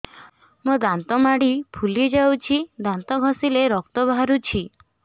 ମୋ ଦାନ୍ତ ମାଢି ଫୁଲି ଯାଉଛି ଦାନ୍ତ ଘଷିଲେ ରକ୍ତ ବାହାରୁଛି